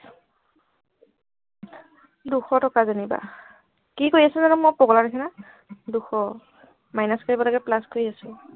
দুশ টকা যেনিবা কি কৰি আছ জানো মই পগলা নিচিনা দুশ minus কৰিব লাগে plus কৰি আছো